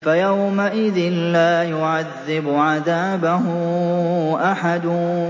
فَيَوْمَئِذٍ لَّا يُعَذِّبُ عَذَابَهُ أَحَدٌ